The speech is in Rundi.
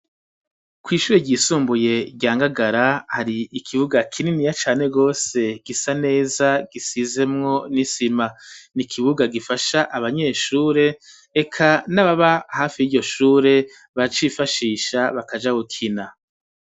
Kw'ishure ryisumbuye rya Ngagara, hari ikibuga kininiya cane gose gisa neza, gisizemwo n'isima. Ni ikibuga gifasha abanyeshure, eka n'ababa hafi y'iryo shure bacifashisha bakaja gukina.